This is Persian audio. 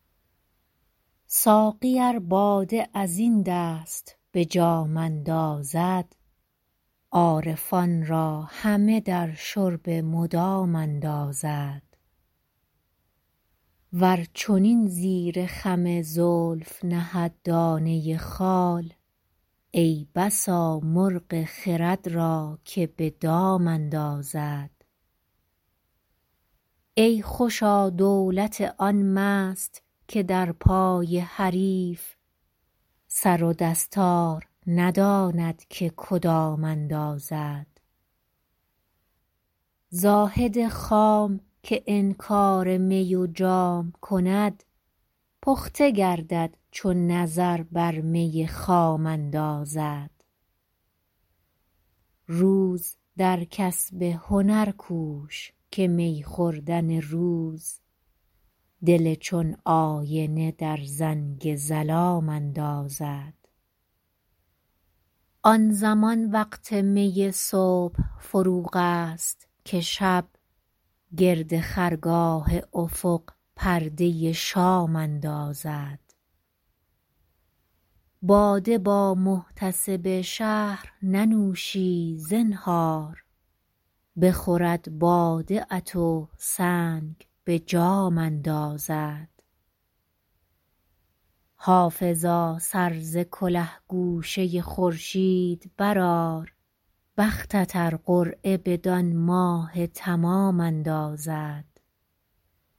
ساقی ار باده از این دست به جام اندازد عارفان را همه در شرب مدام اندازد ور چنین زیر خم زلف نهد دانه خال ای بسا مرغ خرد را که به دام اندازد ای خوشا دولت آن مست که در پای حریف سر و دستار نداند که کدام اندازد زاهد خام که انکار می و جام کند پخته گردد چو نظر بر می خام اندازد روز در کسب هنر کوش که می خوردن روز دل چون آینه در زنگ ظلام اندازد آن زمان وقت می صبح فروغ است که شب گرد خرگاه افق پرده شام اندازد باده با محتسب شهر ننوشی زنهار بخورد باده ات و سنگ به جام اندازد حافظا سر ز کله گوشه خورشید برآر بختت ار قرعه بدان ماه تمام اندازد